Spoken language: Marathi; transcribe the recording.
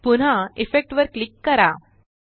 पुन्हा इफेक्ट जीटीजीटी वर क्लिक करा